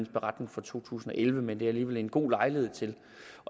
beretning for to tusind og elleve men det er alligevel en god lejlighed til